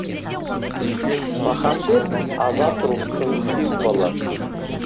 махамбет азат рухтың символы